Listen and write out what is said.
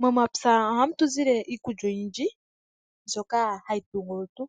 Momapya ohamu tu zile iikulya oyindji mbyoka hayi tungu olutu